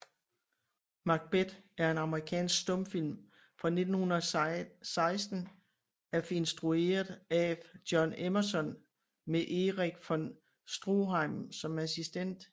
Macbeth er en amerikansk stumfilm fra 1916 af instrueret af John Emerson med Erich von Stroheim som assistent